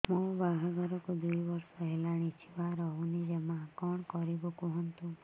ମୋ ବାହାଘରକୁ ଦୁଇ ବର୍ଷ ହେଲାଣି ଛୁଆ ରହୁନି ଜମା କଣ କରିବୁ କୁହନ୍ତୁ